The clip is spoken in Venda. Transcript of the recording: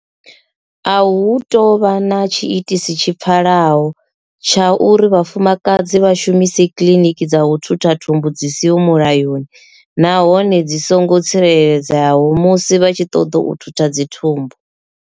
A hu tou vha na tshiitisi tshi pfalaho tsha uri vhafumakadzi vha shumise kiḽiniki dza u thutha thumbu dzi siho mulayoni nahone dzi songo tsireledzeaho musi vha tshi ṱoḓa u thutha dzi thumbu.